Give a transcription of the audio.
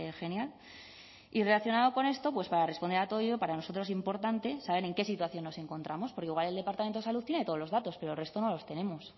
genial y relacionado con esto pues para responder a todo ello para nosotros importante saber en qué situación nos encontramos porque igual el departamento de salud tiene todos los datos pero el resto no los tenemos